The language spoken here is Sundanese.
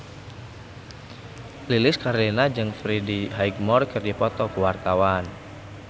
Lilis Karlina jeung Freddie Highmore keur dipoto ku wartawan